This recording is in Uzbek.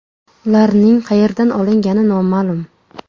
Ularning qayerdan olingani noma’lum.